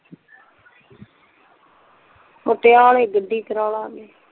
ਪਟਿਆਲੇ ਗੱਡੀ ਕਰਾ ਲਾਂਗੇ